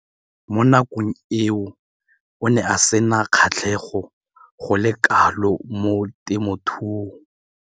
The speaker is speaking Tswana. Mo nakong eo o ne a sena kgatlhego go le kalo mo temothuong.